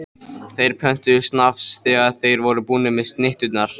Þeir pöntuðu snafs þegar þeir voru búnir með snitturnar.